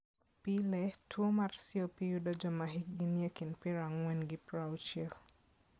Pile, tuo mar COP yudo joma hikgi nie kind piero ang'wen gi piero auchiel.